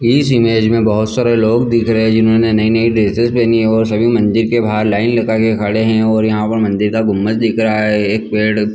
इस इमेज में बहुत सारे लोग दिख रहे है जिन्होंने नई-नई ड्रेसिस पेहनी है और सभी मंदिर के बाहर लाइन लगा के खड़े है और यहाँ पर मंदिर का गुंम्बद दिख रहा है एक पेड़--